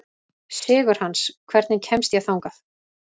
Sigurhans, hvernig kemst ég þangað?